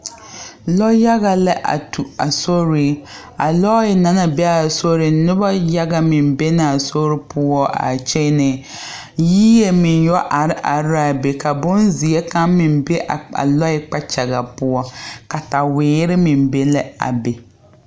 Lɔ yaga la a tu a soreŋ a lɔɛ na naŋ be a soreŋ noba yaga meŋ be la a sori poɔ kyɛnɛ yie meŋ yɔ are are la a be ka bonzeɛ kaŋ meŋ be a lɔɛ kpakyaga poɔ kataweere meŋ be la a be.